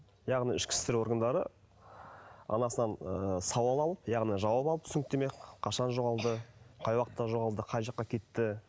яғни ішкі істер органдары анасынан ы сауал алып яғни жауап алып түсініктеме қашан жоғалды қай уақытта жоғалды қай жаққа кетті